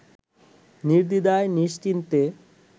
নির্দ্বিধায় নিশ্চিন্তে